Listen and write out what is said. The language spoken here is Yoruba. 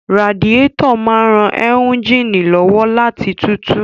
Radiétọ̀ máa n ran éúnjínì lọ́wọ́ láti tutù